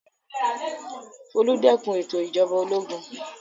Folú dẹ́kun ètò ìjọba ológun.